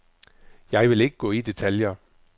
Jeg vil ikke gå i detaljer.